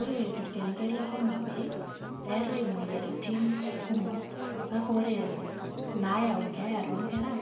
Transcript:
Ore torkerenket le Homabay, eetae imoyiaritin kumok kake ore inaayau keeya toonkera